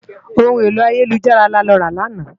Óhún éló àyélújárà lálòrá làná